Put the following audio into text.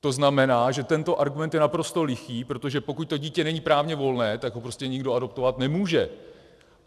To znamená, že tento argument je naprosto lichý, protože pokud to dítě není právně volné, tak ho prostě nikdo adoptovat nemůže.